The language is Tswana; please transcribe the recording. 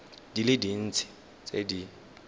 di le dintsi tse di